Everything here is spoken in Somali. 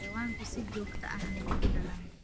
Xayawaanku si joogto ah ayey u dhalaan.